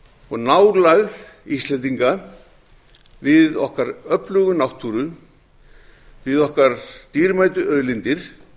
og nálægð íslendinga við okkar öflugu náttúru við okkar dýrmætu auðlindir